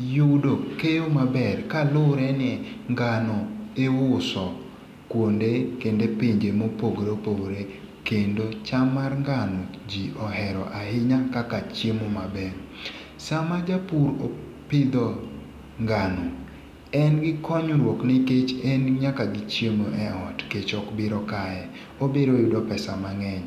yudo keyo maber kaluwore ni ngano iuso kuonde kendo e pinje mopogore opogore kendo cham mar ngano ji ohero ahinya kaka chiemo maber. sama japur pidho ngano en gi konyruok nikech en nyaka gi chiemo e ot kech obiro kaye en nyaka gi pesa mang'eny